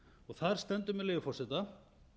þar stendur með leyfi forseta